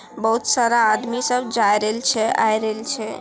बहुत सारा आदमी सब जाए रहल छै आए रहल छै--